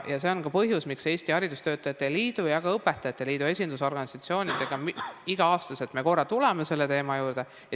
See on ka põhjus, miks me Eesti Haridustöötajate Liidu ja ka õpetajate liidu kui esindusorganisatsioonidega iga aasta korra tuleme selle teema juurde.